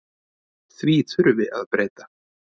Því þurfi að breyta.